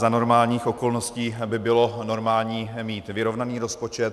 Za normálních okolností by bylo normální mít vyrovnaný rozpočet.